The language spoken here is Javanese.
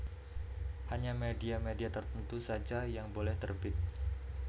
Hanya media media tertentu saja yang boleh terbit